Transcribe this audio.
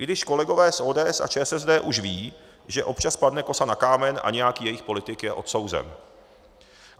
I když kolegové z ODS a ČSSD už vědí, že občas padne kosa na kámen a nějaký jejich politik je odsouzen.